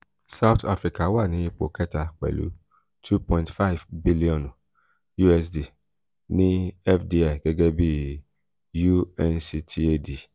south africa wa ni ipo kẹta pẹlu two point five bilionu usd ni fdi gẹgẹ bi unctad.